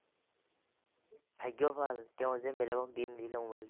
ভাগ্য ভাল তেওঁ যে বেলেগক দি নিদিলে মোবাইলটো